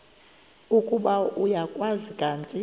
ukuba uyakwazi kanti